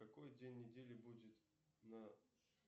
какой день недели будет на